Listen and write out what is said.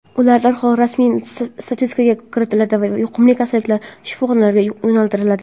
ular darhol rasmiy statistikaga kiritiladi va yuqumli kasalliklar shifoxonalariga yo‘naltiriladi.